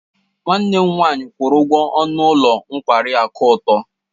Nwanne m nwanyị kwuru ụgwọ ọnụ ụlọ nkwari akụ atọ.